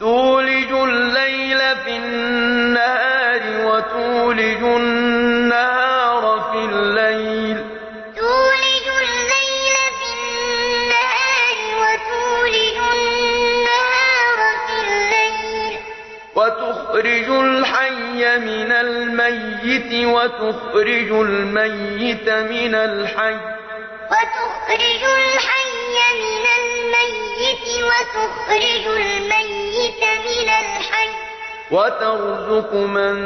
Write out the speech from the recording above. تُولِجُ اللَّيْلَ فِي النَّهَارِ وَتُولِجُ النَّهَارَ فِي اللَّيْلِ ۖ وَتُخْرِجُ الْحَيَّ مِنَ الْمَيِّتِ وَتُخْرِجُ الْمَيِّتَ مِنَ الْحَيِّ ۖ وَتَرْزُقُ مَن